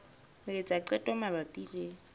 ho etsa qeto mabapi le